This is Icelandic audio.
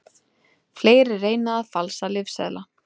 Fleiri reyna að falsa lyfseðla